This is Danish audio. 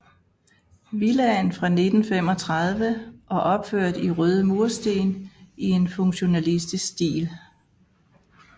Villaen var fra 1935 og opført i røde mursten i en funktionalistisk stil